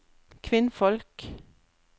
kvinnfolk